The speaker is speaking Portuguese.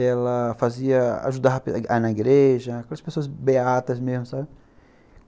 Ela fazia... ajudava na igreja, aquelas pessoas beatas mesmo, sabe?